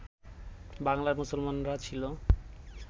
বাংলার মুসলমানরা ছিল